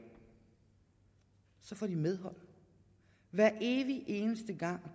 så får de medhold hver evig eneste gang